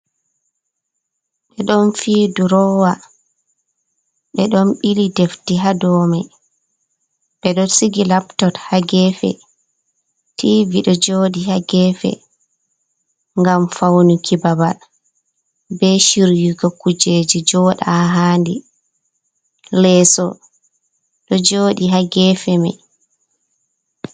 Ɓe don fi durowa, be don bili defti ha domai, be do sigi laptot ha gefe, tivi do jodi ha gefe gam faunuki babal, be shiryugo kujeji joɗa ha handi. leeso ɗo jodi ha gefe mai.